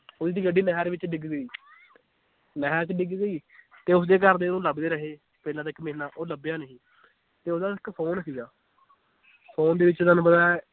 ਓਹਦੀ ਗੱਡੀ ਨਹਿਰ ਵਿਚ ਡਿੱਗ ਗਈ ਨਹਿਰ ਚ ਡਿੱਗ ਗਈ ਤੇ ਉਸਦੇ ਘਰ ਦੇ ਉਹਨੂੰ ਲੱਭਦੇ ਰਹੇ, ਪਹਿਲਾਂ ਤੇ ਇੱਕ ਮਹੀਨਾ ਉਹ ਲਭਿਆ ਨਹੀਂ ਤੇ ਓਹਦਾ ਇੱਕ phone ਸੀਗਾ phone ਦੇ ਵਿਚ ਤੁਹਾਨੂੰ ਪਤਾ ਏ